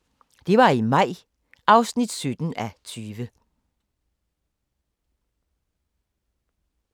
04:50: Det var i maj (17:20)